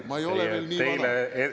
Minu aeg ei ole läbi!